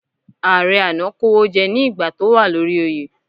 Ààrẹ àná kówójẹ́ ní ìgbà tó wà lórí oyè.